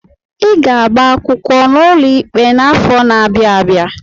I ga-agba akwụkwọ n'ụlọ ikpe n'afọ n'abia abịa!